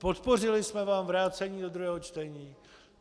Podpořili jsme vám vrácení do druhého čtení.